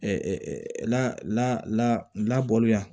la labɔli yan